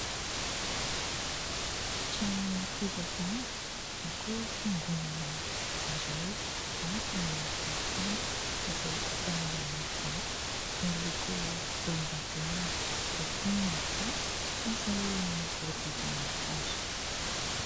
Trano fivavahana na koa fiangonana iray, avo ny tilikambo izay vita amin'ny vato miloko volondavenona, eo koa ny tafo izay voahodidina hazo.